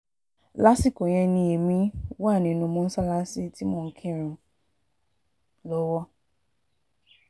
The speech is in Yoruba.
lásìkò yẹn èmi um wà nínú mọ́ṣáláṣí tí mò ń kírun um lọ́wọ́